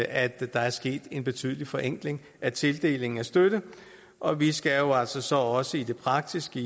at der er sket en betydelig forenkling af tildelingen af støtte og vi skal jo så så også i den praktiske